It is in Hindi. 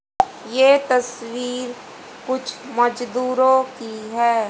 ये तस्वीर कुछ मजदूरों की है।